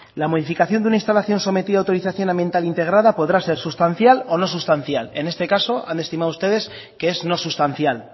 la modificación de una instalación sometida a autorización ambiental integrada podrá ser sustancial o no sustancial en este caso han estimado ustedes que es no sustancial